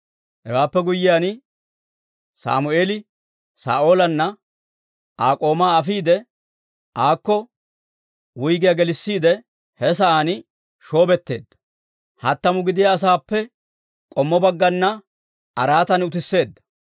Hewaappe guyyiyaan, Sammeeli Saa'oolanne Aa k'oomaa afiide, aako wuyggiyaa gelissiide he sa'aan shoobetteedda hattamu gidiyaa asaappe k'ommo baggana araatan utisseedda.